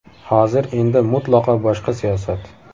Hozir endi mutlaqo boshqa siyosat.